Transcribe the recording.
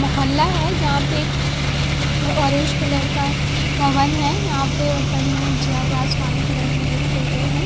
मोहल्ला है यहां पे एक अह ये ऑरेंज कलर का भवन है यहां पे ऊपर में जो आसमानी कलर में लिखे हुए हैं।